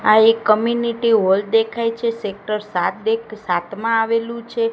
આ એક community hall દેખાય છે સેક્ટર સાત એક સાતમાં આવેલું છે.